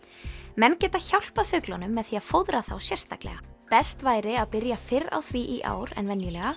menn geta hjálpað fuglunum með því að fóðra þá sérstaklega best væri að byrja fyrr á því í ár en venjulega